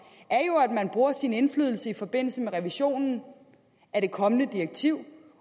er jo at man bruger sin indflydelse i forbindelse med revisionen af det kommende direktiv